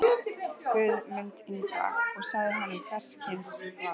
Guð mund Ingva, og sagði honum hvers kyns var.